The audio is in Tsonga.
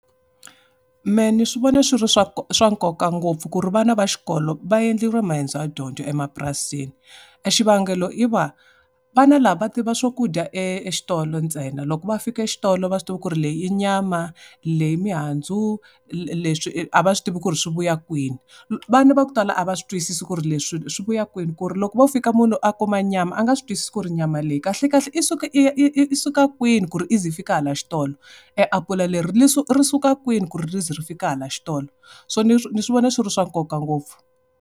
Mehe ni swi vona swi ri swa swa nkoka ngopfu ku ri vana va xikolo va endleriwa maendzo ya dyondzo emapurasini. E xivangelo i va, vana lava va tiva swakudya e exitolo ntsena. Loko va fika exitolo a va swi tivi ku ri leyi i nyama, leyi i mihandzu, leswi a va swi tivi ku ri swi vuya kwini. Vana va ku tala a va swi twisisi ku ri leswi swi vuya kwini ku ri loko wo fika munhu a kuma nyama a nga swi twisisi ku ri nyama leyi kahle kahle i suka i ya i suka kwini ku ri i za i fika hala xitolo. E apula leri ri suka kwini ku ri ri za ri fika hala xitolo. So ni swi vona swi ri swa nkoka ngopfu.